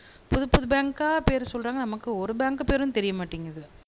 புதுப்புது பேங்க்கா பேரு சொல்றாங்க நமக்கு ஒரு பேங்க் பேரும் தெரிய மாட்டேங்குது